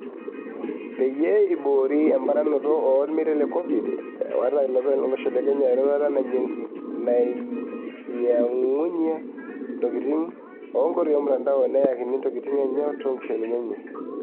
Peyie iboori emponaroto e olmetai le Covid, ewata ilopeny olosho le Kenya eroruata nanyiangunyia ntokitin e nkoitoi e mutandao neeyakini ntokitin enye too nkishomini enye.